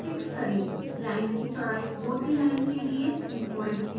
line की चौड़ाई मोटी लाइन के लिए 30 फिक्स करें